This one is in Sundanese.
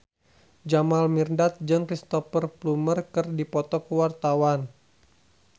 Jamal Mirdad jeung Cristhoper Plumer keur dipoto ku wartawan